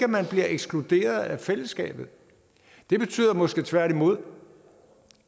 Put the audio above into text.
man bliver ekskluderet af fællesskabet det betyder måske tværtimod